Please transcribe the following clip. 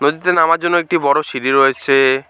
নীচে নামার জন্য একটি বড়ো সিঁড়ি রয়েছে।